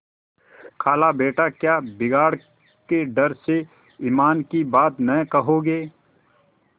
खालाबेटा क्या बिगाड़ के डर से ईमान की बात न कहोगे